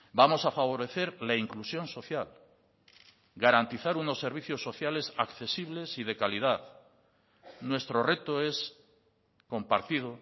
vamos a favorecer la inclusión social garantizar unos servicios sociales accesibles y de calidad nuestro reto es compartido